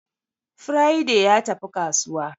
Friday ya tafi kasuwa